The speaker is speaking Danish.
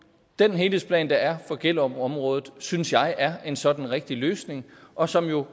den helhedsplan der er for gellerupområdet synes jeg er en sådan rigtig løsning og som jo